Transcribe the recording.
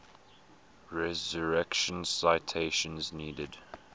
resurrection citation needed